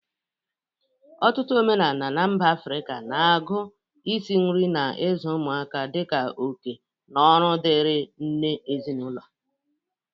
Ọtụtụ omenala na mba Afrịka na-agụ isi nri na ịzụ ụmụaka dị ka oke na ọrụ dịrị nne ezinaụlọ.